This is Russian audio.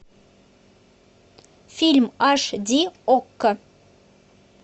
фильм аш ди окко